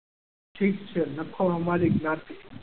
ઠીક છે લખો મારી જ્ઞાતિ.